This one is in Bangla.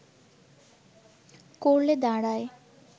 করলে দাঁড়ায়